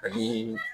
Ani